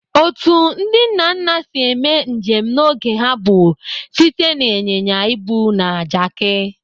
Otu ndị nna nna si mee njem n'oge ha bụ site na ịnyịnya ibu na Jaki.